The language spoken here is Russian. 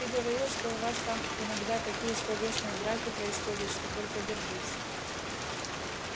ты говорил что у вас там иногда такие словесные драки происходят что только держись